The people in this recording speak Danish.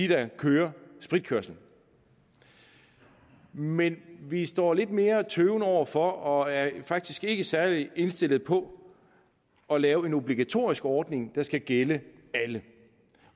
der kører spritkørsel men vi står lidt mere tøvende over for og er faktisk ikke særlig indstillet på at lave en obligatorisk ordning der skal gælde alle